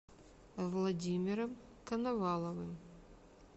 владимиром коноваловым